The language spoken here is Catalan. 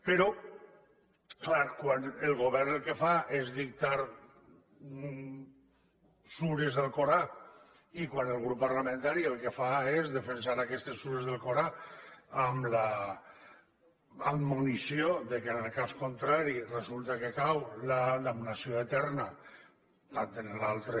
però clar quan el govern el que fa és dictar sures de l’alcorà i quan el grup parlamentari el que fa és defensar aquestes sures de l’alcorà amb l’admonició que en el cas contrari resulta que cau la damnació eterna tant en l’altra